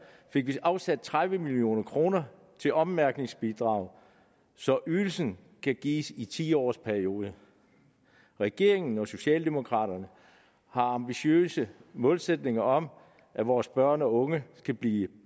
fik vi afsat tredive million kroner til ommærkningsbidrag så ydelsen kan gives i en ti årsperiode regeringen og socialdemokraterne har ambitiøse målsætninger om at vores børn og unge skal blive